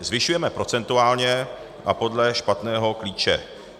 Zvyšujeme procentuálně a podle špatného klíče.